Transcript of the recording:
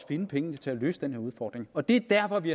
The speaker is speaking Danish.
finde pengene til at løse den her udfordring og det er derfor at vi